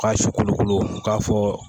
U K'a su kolokolo u k'a fɔ